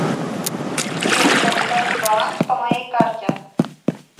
сбер подскажи баланс по моей карте